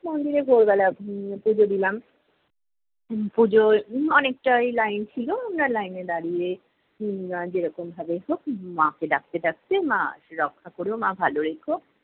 মন্দিরে ভোরবেলা উম পুজো দিলাম। উম পুজোয় অনেকটাই line ছিলো। আমরা লাইনে দাঁড়িয়ে উম যে রকম ভাবেই হোক, মাকে ডাকতে ডাকতে- মা রক্ষা করো, মা ভালো রেখো।